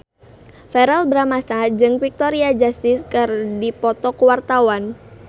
Verrell Bramastra jeung Victoria Justice keur dipoto ku wartawan